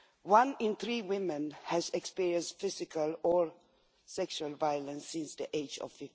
One in three women has experienced physical or sexual violence since the age of